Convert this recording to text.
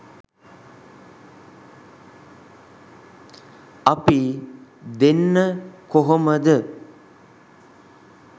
අපි දෙන්න කොහොමද